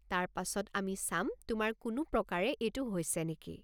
তাৰ পাছত আমি চাম তোমাৰ কোনো প্ৰকাৰে এইটো হৈছে নেকি।